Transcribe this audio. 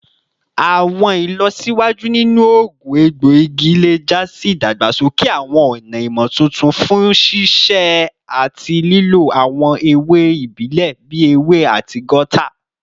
Awọn ilọsiwaju ninu oogun egboigi le ja si idagbasoke awọn ọna imotuntun fun sisẹ ati lilo awọn ewe ibile bii ewe ati gauta